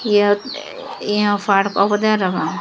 iyot yon park obodey parapang.